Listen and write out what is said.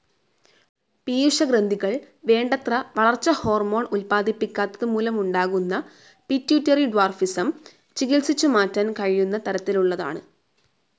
പീയൂഷഗ്രന്ഥികൾ വേണ്ടത്ര വളർച്ച ഹോർമോണും ഉത്പ്പാദിക്കാത്തതുമൂലമുണ്ടാകുന്ന പിറ്റ്വൂറ്ററി ഡ്വാർഫിസം ചികിത്സിച്ചു മാറ്റാൻ കഴിയുന്ന തരത്തിലുള്ളതാണ്.